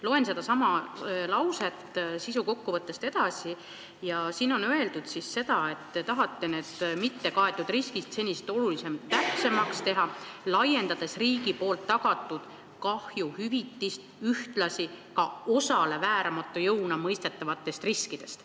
Loen sedasama sisukokkuvõtte lauset edasi ja siin on öeldud, et te tahate need mittekaetud riskid senisest oluliselt täpsemaks teha, laiendades riigi tagatud kahjuhüvitist ühtlasi ka osale vääramatu jõuna mõistetavatest riskidest.